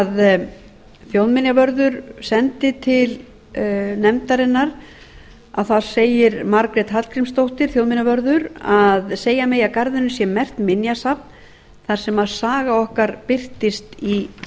sem þjóðminjavörður sendi til nefndarinnar þar segir margrét hallgrímsdóttir þjóðminjavörður að að segja megi að garðurinn sé merkt minjasafn þar sem saga okkar birtist í